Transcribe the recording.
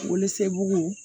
Wolosɛbɛn